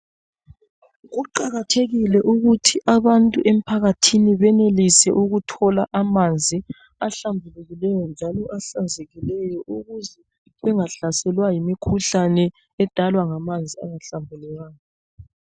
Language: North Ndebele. Kuqakathekile ukuthi abantu emphakathini benelise ukuthola amanzi ahlambulukileyo njalo ahlanzekileyo ukuze bengahlaselwa yimikhuhlane edalwa ngamanzi angahlambulukanga.